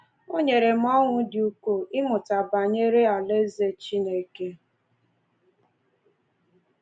O nyere m ọṅụ dị ukwuu ịmụta banyere Alaeze Chineke